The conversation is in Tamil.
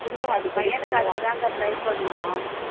என் பையனுக்கு அதுக்குதாங்க்கா try பண்ணோம்